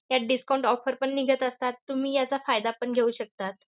त्यात discount offer पण निघत असतात, तुम्ही याचा फायदा पण घेऊ शकतात.